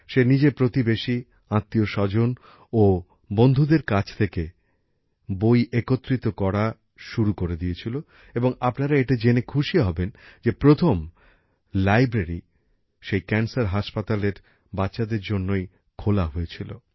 সে নিজের প্রতিবেশী আত্মীয় স্বজন ও বন্ধুদের কাছ থেকে বই একত্রিত করা শুরু করে দিয়েছিল এবং আপনারা এটা জেনে খুশি হবেন যে প্রথম লাইব্রেরী সেই ক্যান্সার হসপিটালের বাচ্চাদের জন্যই খোলা হয়েছিল